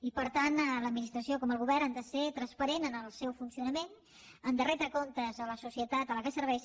i per tant l’administració com el govern ha de ser transparent en el seu funcionament ha de retre comptes a la societat a la que serveix